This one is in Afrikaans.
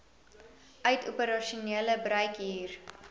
uit operasionele bruikhuur